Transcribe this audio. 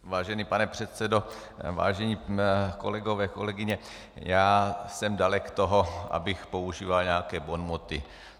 Vážený pane předsedo, vážení kolegové, kolegyně, já jsem dalek toho, abych používal nějaké bonmoty.